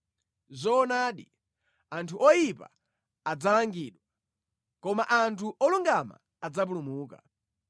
Zoonadi, anthu oyipa adzalangidwa, koma anthu olungama adzapulumuka.